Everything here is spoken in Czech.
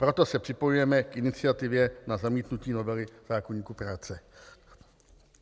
Proto se připojujeme k iniciativě na zamítnutí novely zákoníku práce.